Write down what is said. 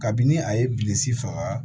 Kabini a ye bilisi faga